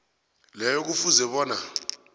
leyo kufuze bona